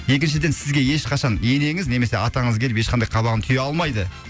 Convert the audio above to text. екіншіден сізге ешқашан енеңіз немесе атаңыз келіп ешқандай қабағын түйе алмайды